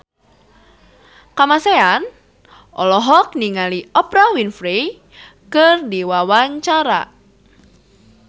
Kamasean olohok ningali Oprah Winfrey keur diwawancara